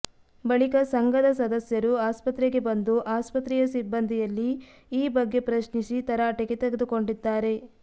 ಬಳಿಕ ಸಂಘದ ಸದಸ್ಯರು ಆಸ್ಪತ್ರೆಗೆ ಬಂದು ಆಸ್ಪತ್ರೆಯ ಸಿಬ್ಬಂದಿಯಲ್ಲಿ ಈ ಬಗ್ಗೆ ಪ್ರಶ್ನಿಸಿ ತರಾಟೆಗೆ ತೆಗೆದುಕೊಂಡಿದ್ದಾರೆ